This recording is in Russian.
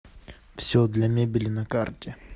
все для мебели на карте